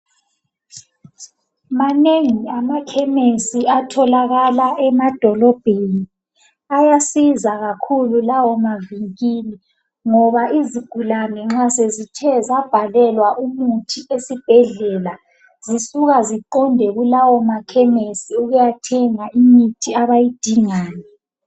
Manengi amakhemisi atholakala emadolobheni. Ayasiza kakhulu lawo mavinkili ngoba izigulane nxa sezithe zabhalelwa umuthi esibhedlela zisuka ziqonde kulawo makhemisi ukuyathenga imithi abayidingayo.